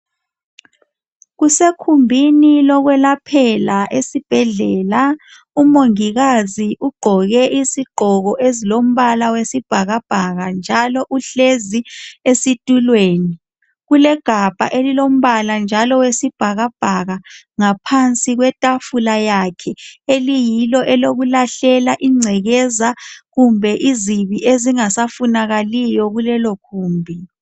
Kusekhumbini lokwelaphela esibhedlela umongikazi ugqoke isigqoko ezilombala wesibhakabhaka njalo uhlezi esitulweni. Kulegabha elilombala njalo owesibhakabhaka ,ngaphansi kwetafula yakhe eliyilo elokulahlela ingcekeza kumbe izibi ezingasafunakaliyo kulelo gumbi.